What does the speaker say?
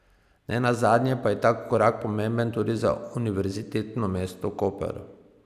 Nenazadnje pa je ta korak pomemben tudi za univerzitetno mesto Koper.